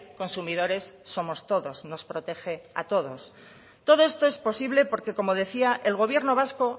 consumidores somos todos nos protege a todos todo esto es posible porque como decía el gobierno vasco